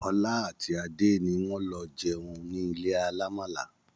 Ọlá àti Adé ni wọn lọ jẹun nílé alàmàalà